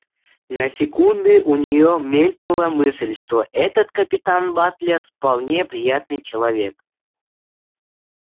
на секунды у неё мелькнула мысль что этот капитан батлер вполне приятный человек